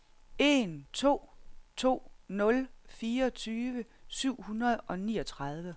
en to to nul fireogtyve syv hundrede og niogtredive